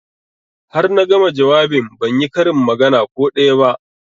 Har na gama jawabin ban yi karin magana ko daya ba